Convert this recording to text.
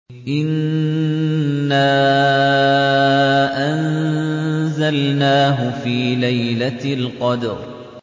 إِنَّا أَنزَلْنَاهُ فِي لَيْلَةِ الْقَدْرِ